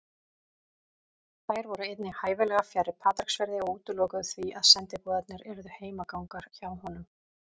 Þær voru einnig hæfilega fjarri Patreksfirði og útilokuðu því að sendiboðarnir yrðu heimagangar hjá honum.